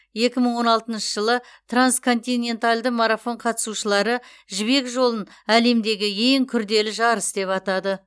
екі мың он алтыншы жылы трансконтиненталды марафон қатысушылары жібек жолын әлемдегі ең күрделі жарыс деп атады